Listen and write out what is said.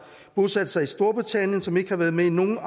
bosat sig i storbritannien og som ikke har været med i nogen